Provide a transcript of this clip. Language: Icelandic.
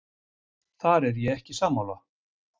Þar er ég ekki sammála.